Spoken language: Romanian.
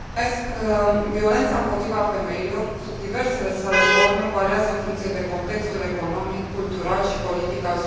Violența împotriva femeilor, sub diversele sale forme, variază în funcție de contextul economic, cultural și politic al societății.